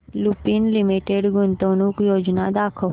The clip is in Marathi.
लुपिन लिमिटेड गुंतवणूक योजना दाखव